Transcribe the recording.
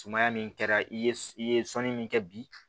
Sumaya min kɛra i ye i ye sɔnni min kɛ bi